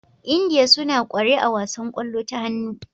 India suna kware a wasan kwallo ta hannu